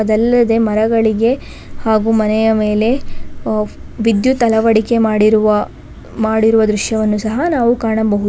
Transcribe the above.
ಎಲ್ಲೆಡೆ ಮರಗಳಿಗೆ ಹಾಗೂ ಮನೆಯ ಮೇಲೆ ವಿದ್ಯುತ್ ಅಳವಡಿಕೆ ಮಾಡಿರುವ ಮಾಡಿರುವ ದೃಶ್ಯವನ್ನು ಸಹ ನಾವು ಕಾಣಬಹುದಾಗಿ--